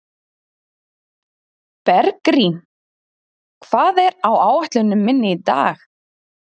Bergrín, hvað er á áætluninni minni í dag?